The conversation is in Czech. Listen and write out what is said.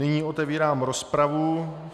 Nyní otevírám rozpravu.